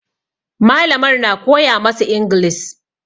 Malamar na koya masu inglis